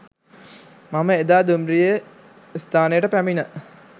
මම එදා දුම්රිය ස්ථානයට පැමිණ